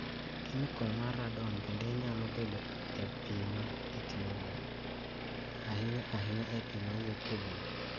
kemikol mar Radon bende nyalo bedo e pi ma itiyogo, ahiny ahinya e pi ma wuok e bur.